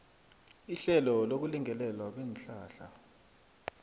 ihlelo lokulingelelwa kweenhlahla